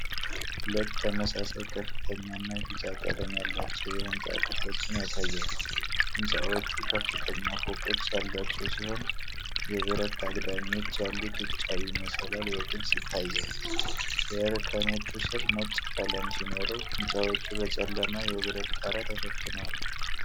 ሁለት ተመሳሳይ ከፍተኛ እና ቢጫ ቀለም ያላቸው የሕንፃ ክፍሎችን ያሳያል። ሕንፃዎቹ ከፍተኛ ፎቆች ያሏቸው ሲሆን፤ የብረት አግዳሚዎች ያሉት ውጫዊ መሰላል በግልጽ ይታያል። የእርከኖቹ ስር ነጭ ቀለም ሲኖረው፤ ሕንፃዎቹ በጨለማ የብረት ጣራ ተሸፍነዋል።